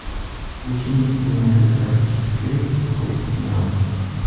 включи мне кинематографический фильм китайский синдром